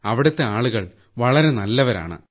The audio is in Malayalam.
അവിടുത്തെ ആളുകൾ വളരെ നല്ലവരാണ്